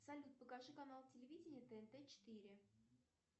салют покажи канал телевидения тнт четыре